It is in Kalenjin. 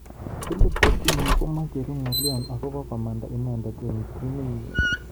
Philippe Coutinho komechuru ngalyo akobo komanda inendet eng timit nenyi.